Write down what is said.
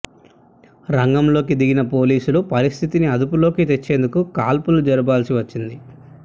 రంగంలోకి దిగిన పోలీసులు పరిస్థితిని అదుపులోకి తెచ్చేందుకు కాల్పులు జరపాల్సి వచ్చింది